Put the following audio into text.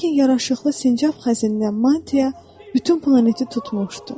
Lakin yaraşıqlı sincab xəzinindən mantya bütün planeti tutmuşdu.